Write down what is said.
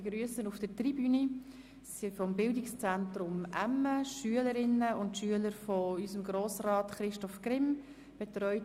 Einerseits haben wir die Motion 050-2017 von Grossrätin Schöni-Affolter mit dem Titel: «Endlich verbindliche Schritte zur Senkung der Steuern für natürliche Personen».